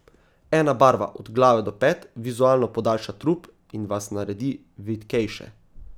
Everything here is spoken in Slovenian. Ena barva od glave do pet vizualno podaljša trup in vas naredi vitkejše.